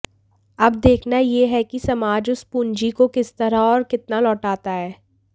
अब देखना यह है कि समाज उस पूंजी को किस तरह और कितना लौटता है